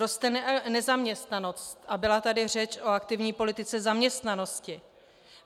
Roste nezaměstnanost, a byla tady řeč o aktivní politice zaměstnanosti.